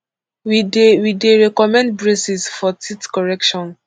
we dey we dey recommend braces for teeth correction